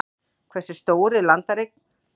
Hversu stór er landareign?